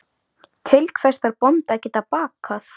Til hvers þarf bóndi að geta bakað?